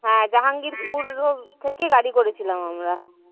হ্যাঁ জাহাঙ্গীরপুর road থেকে গাড়ী করেছিলাম আমরা।